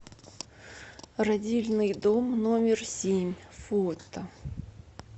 родильный дом номер семь фото